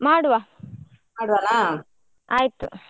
ಮಾಡುವ .